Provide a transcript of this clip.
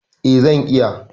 Eh, zan iya